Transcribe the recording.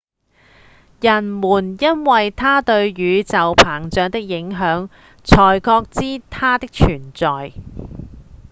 人們因為它對宇宙膨脹的影響才確知它的存在